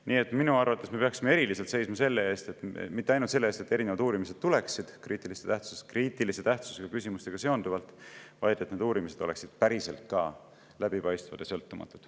Nii et minu arvates me peaksime eriliselt seisma mitte ainult selle eest, et erinevad kriitilise tähtsusega küsimuste uurimised tuleksid, vaid ka selle eest, et need uurimised oleksid päriselt ka läbipaistvad ja sõltumatud.